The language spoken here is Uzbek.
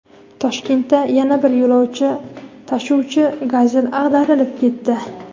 Toshkentda yana bir yo‘lovchi tashuvchi "Gazel" ag‘darilib ketdi.